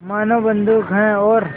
मानो बंदूक है और